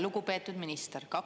Lugupeetud minister!